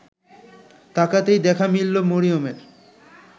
তাকাতেই দেখা মিললো মরিয়মের